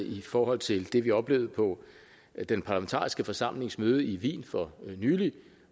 i forhold til det vi oplevede på den parlamentariske forsamlings møde i wien for nylig